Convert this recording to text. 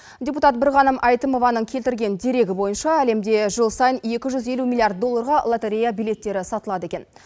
депутат бірғаным әйтімованың келтірген дерегі бойынша әлемде жыл сайын екі жүз елу миллиард долларға лотерея билеттері сатылады екен